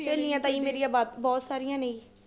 ਸਹੇਲੀਆਂ ਤਾਂ ਜੀ ਮੇਰੀਆਂ ਵਾ ਬਹੁਤ ਸਾਰੀਆਂ ਨੇ।